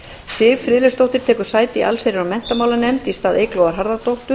siv friðleifsdóttir tekur sæti í allsherjar og menntamálanefnd í stað eyglóar harðardóttur